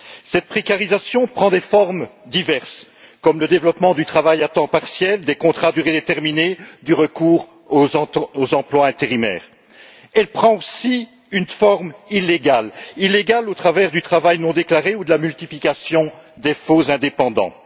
Cette précarisation prend des formes diverses, comme le développement du travail à temps partiel, des contrats à durée déterminée et du recours aux emplois intérimaires. Elle prend aussi une forme illégale, illégale au travers du travail non déclaré ou de la multiplication des faux indépendants.